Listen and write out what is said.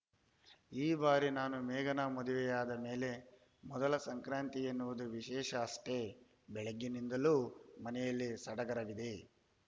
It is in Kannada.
ಈ ಬಾರಿ ನಾನು ಮೇಘನಾ ಮದುವೆಯಾದ ಮೇಲೆ ಮೊದಲ ಸಂಕ್ರಾಂತಿ ಎನ್ನುವುದು ವಿಶೇಷ ಅಷ್ಟೇ ಬೆಳಿಗ್ಗೆಯಿಂದಲೂ ಮನೆಯಲ್ಲಿ ಸಡಗರವಿದೆ